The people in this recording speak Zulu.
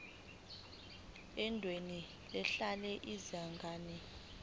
endaweni ehlala izingane